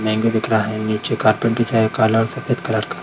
Mango दिख रहा है निचे कार्पेट बीछा है काला और सफ़ेद कलर का।